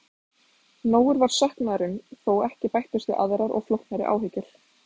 Nógur var söknuðurinn þó ekki bættust við aðrar og flóknari áhyggjur.